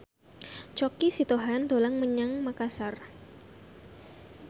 Choky Sitohang dolan menyang Makasar